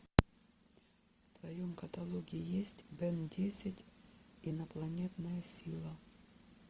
в твоем каталоге есть бен десять инопланетная сила